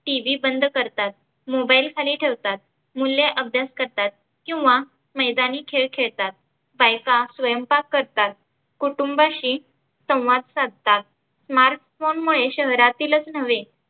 TV बंद करतात, mobile खाली ठेवतात मुले अभ्यास करतात, किंवा मैदानी खेळ खेळतात, बायका स्वयंपाक करतात, कुटुंबाशी संवाद साधतात. mark form मुळे शहरातीलचं नव्हे